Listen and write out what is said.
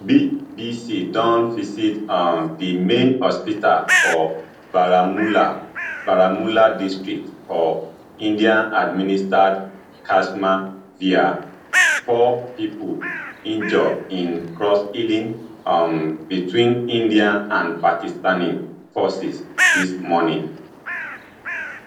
bbc don visit um di main hospital for baramulla baramulla district for indianadministered kashmir wia four pipo injure in crossshelling um betwin indian and pakistani forces dis morning